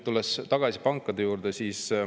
Tulen tagasi pankade juurde.